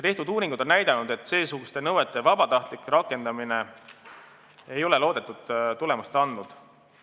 Tehtud uuringud on näidanud, et seesuguste nõuete vabatahtlik rakendamine ei ole loodetud tulemust andnud.